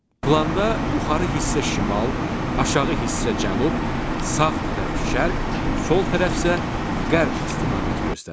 Planda yuxarı hissə şimal, aşağı hissə cənub, sağ tərəf şərq, sol tərəf isə qərb istiqaməti göstərir.